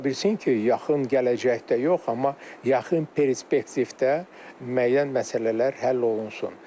Ola bilsin ki, yaxın gələcəkdə yox, amma yaxın perspektivdə müəyyən məsələlər həll olunsun.